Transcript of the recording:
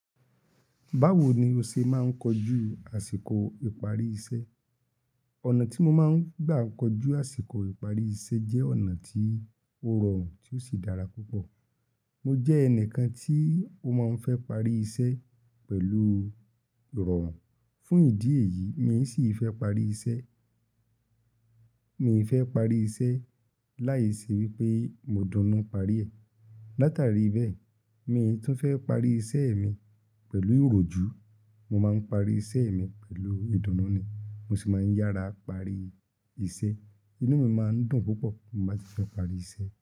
Báwo ni o ṣe máa ń kojú àsìkò ìparí iṣẹ́? Ọ̀nà tí mo máa ń gbà kojú àsìkò ìparí iṣẹ́ jẹ́ ọ̀nà tí ó rọrùn tí ó sì dára púpọ̀. Mo jẹ́ ẹnìkan tí ó máa ń fẹ́ parí iṣẹ́ pẹ̀lú ìrọ̀rùn. Fún ìdí èyí, mi sì fẹ́ parí iṣẹ́, mi fẹ́ parí iṣẹ́ láìṣe wípé mo dunú parí ẹ̀. Látàrí bẹ́ẹ̀, mi tún fẹ́ parí iṣẹ́ mi pẹ̀lú ìròjú. Mo máa ń parí iṣẹ́ mi pẹ̀lú ìdùnnú ni, mo sì máa ń yára parí iṣẹ́. Inú mi máa ń dùn púpọ̀ bí mo bá ti fẹ parí iṣẹ́.